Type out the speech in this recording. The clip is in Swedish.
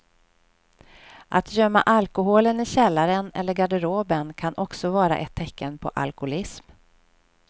Att gömma alkoholen i källaren eller garderoben kan också vara ett tecken på alkoholism.